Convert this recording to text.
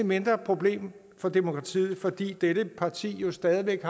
mindre problem for demokratiet for dette parti har stadig væk